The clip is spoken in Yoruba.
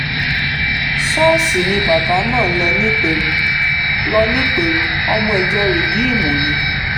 ṣọ́ọ̀ṣì ni bàbá náà ń lọ nìpẹ̀rù lọ nìpẹ̀rù ọmọ ìjọ rìdíìmù ní